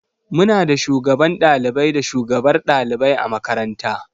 Muna da Shugaban ɗalibai da shugabar ɗalibai a makaranta.